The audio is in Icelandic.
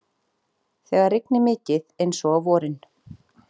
Þegar rignir mikið eins og á vorin.